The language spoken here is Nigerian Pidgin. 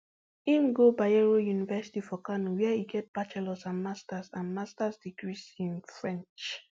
im go bayero university for kano wia e get bachelors and masters and masters degrees in french